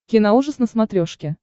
киноужас на смотрешке